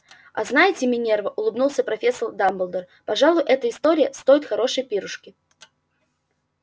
а знаете минерва улыбнулся профессор дамблдор пожалуй эта история стоит хорошей пирушки